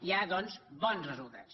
hi ha doncs bons resultats